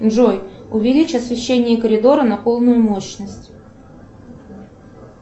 джой увеличь освещение коридора на полную мощность